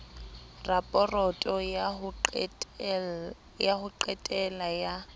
raporoto ya ho qetela ya